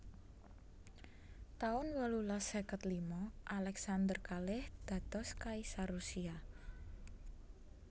taun wolulas seket lima Alexander kalih dados kaisar Rusia